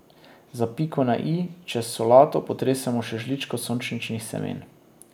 Za piko na i čez solato potresemo še žličko sončničnih semen.